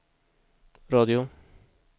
radio